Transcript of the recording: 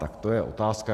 Tak to je otázka.